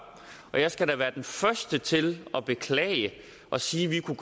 og jeg skal da være den første til at beklage det og sige at vi kunne